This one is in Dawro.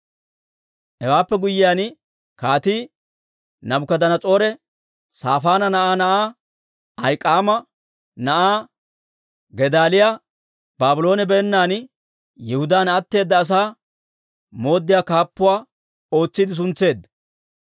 Hewaappe guyyiyaan, Kaatii Naabukadanas'oore Saafaana na'aa na'aa, Ahik'aama na'aa Gedaaliyaa, Baabloone beennan Yihudaan atteeda asaa mooddiyaa kaappuwaa ootsiide suntseedda.